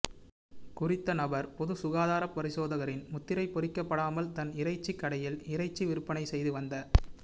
குறித்த நபர் பொதுச் சுகாதாரப் பரிசோதகரின் முத்திரை பொறிக்கப்படாமல் தன் இறைச்சிக் கடையில் இறைச்சி விற்பனை செய்து வந்த